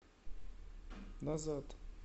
назад